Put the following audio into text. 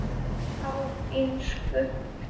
Á ensku